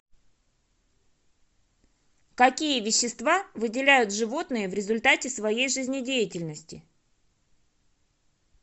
какие вещества выделяют животные в результате своей жизнедеятельности